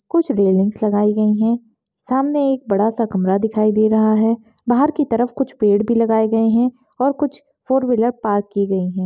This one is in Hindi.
कुछ रेलिंग्स लगाई गई हैं सामने एक बड़ा सा कमरा दिखाई दे रहा है बाहर कि तरफ कुछ पेड़ भी लगाये गए हैं और कुछ फोर-व्हीलर पार्क कि गई हैं।